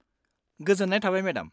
गोजोन्नाय थाबाय मेडाम।